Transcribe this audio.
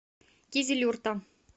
кизилюрта